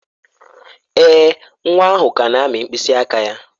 Èè, nwa ahụ ka na-amị mkpịsị aka ya.